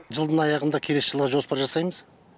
жылдың аяғында келесі жылға жоспар жасаймыз